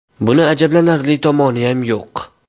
Buni ajablanarli tomoniyam yo‘q.